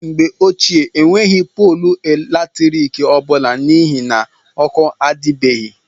N' Mgbe Ochịe Enweghi Pọọlụ Latrịkị Ọbụla N' Ihi Na Ọkụ Adibeghi.